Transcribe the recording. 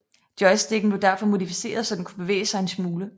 Joysticken blev derfor modificeret så den kunne bevæge sig en smule